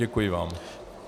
Děkuji vám.